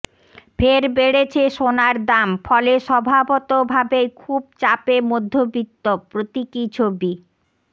ফের বেড়েছে সোনার দাম ফলে স্বভাবত ভাবেই খুব চাপে মধ্যবিত্ত প্রতীকী ছবি